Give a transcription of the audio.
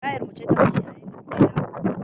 Tayar mu ce ta fashe a yayin da muke dawo wa.